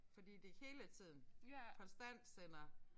Fordi det hele tiden konstant sender